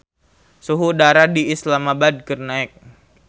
Suhu udara di Islamabad keur naek